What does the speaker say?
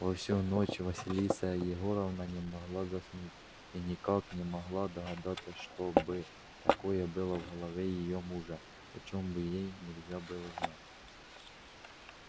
во всю ночь василиса егоровна не могла заснуть и никак не могла догадаться что бы такое было в голове её мужа о чем бы ей нельзя было знать